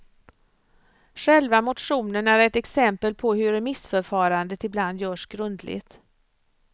Själva motionen är ett exempel på hur remissförfarandet ibland görs grundligt.